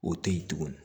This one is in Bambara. O tɛ yen tuguni